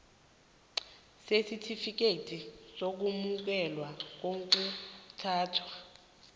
sesitifikethi sokwamukeleka kokuthuthwa